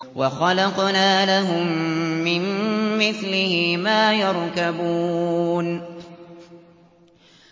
وَخَلَقْنَا لَهُم مِّن مِّثْلِهِ مَا يَرْكَبُونَ